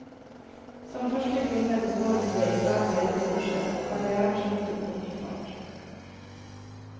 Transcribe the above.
Som første kvinne består hun det interne lederkurset, og karrièren skyter på ny fart.